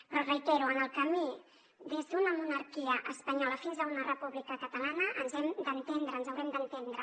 però ho reitero en el camí des d’una monarquia espanyola fins a una república catalana ens hem d’entendre ens haurem d’entendre